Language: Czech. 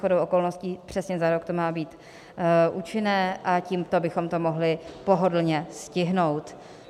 Shodou okolností přesně za rok to má být účinné a tímto bychom to mohli pohodlně stihnout.